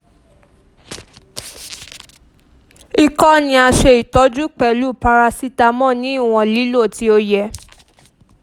ikọ́ ni a ṣe itọju pẹlu paracetamol ni iwọn lilo ti o yẹ